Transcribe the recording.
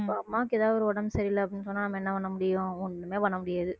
இப்ப அம்மாவுக்கு ஏதாவது ஒரு உடம்பு சரியில்லை அப்படீன்னு சொன்னா நம்ம என்ன பண்ண முடியும் ஒண்ணுமே பண்ண முடியாது